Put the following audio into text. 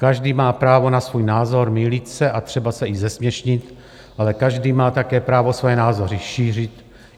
Každý má právo na svůj názor, mýlit se a třeba se i zesměšnit, ale každý má také právo své názory šířit.